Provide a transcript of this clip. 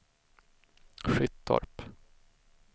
Skyttorp